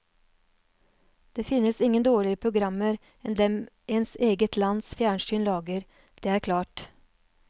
Det finnes ikke dårligere programmer enn dem ens eget lands fjernsyn lager, det er klart.